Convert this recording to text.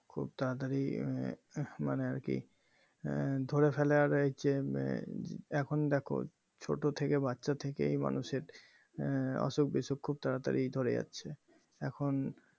খুব তাড়াতাড়ি উহ মানে আর কি ধরে ফেলে আর হচ্ছে এখন দেখো ছোট থেকে বাচ্চা থেকেই মানুষের এর অসুখ বিসুখ খুব তাড়াতাড়ি ধরে যাচ্ছে এখন